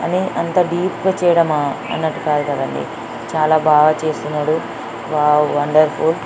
అని ఎంత డీప్ గా చేయడం అ అన్నట్టు కాదు కదండీ చాలా బాగా చేస్తున్నారు వావ్ వండర్ఫుల్ .